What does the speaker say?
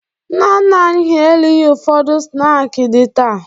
Nna nna anyị hà erighi ụfọdụ snaakị dị taa.